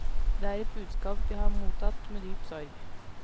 Det er et budskap vi har mottatt med dyp sorg.